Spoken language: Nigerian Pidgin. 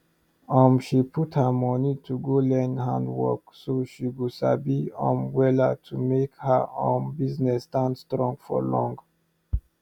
um she put her money to go learn handworkso she go sabi um wella to make her um business stand strong for long